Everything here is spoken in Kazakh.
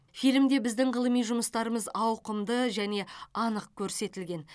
фильмде біздің ғылыми жұмыстарымыз ауқымды және анық көрсетілген